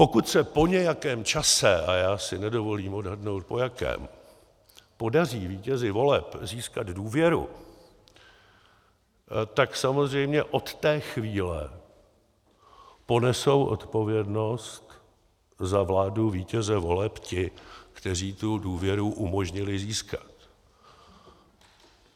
Pokud se po nějakém čase - a já si nedovolím odhadnout po jakém - podaří vítězi voleb získat důvěru, tak samozřejmě od té chvíle ponesou odpovědnost za vládu vítěze voleb ti, kteří tu důvěru umožnili získat.